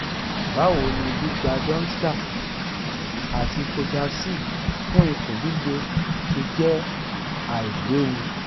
báwo ni gbígba domstal àti coidacid fun ikun lile se je ailewu?